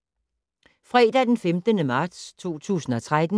Fredag d. 15. marts 2013